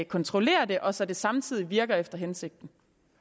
kontrollere det og så det samtidig virker efter hensigten